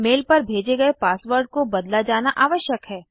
mail पर भेजे गए पासवर्ड को बदला जाना आवश्यक है